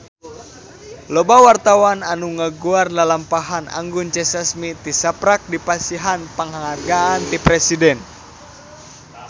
Loba wartawan anu ngaguar lalampahan Anggun C. Sasmi tisaprak dipasihan panghargaan ti Presiden